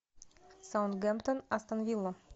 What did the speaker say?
саутгемптон астон вилла